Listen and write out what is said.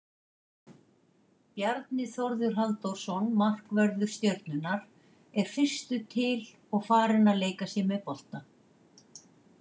Bjarni Þórður Halldórsson markvörður Stjörnunnar er fyrstur til og farinn að leika sér með bolta.